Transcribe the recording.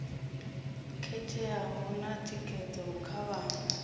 khetheaho na thikedzo kha vhana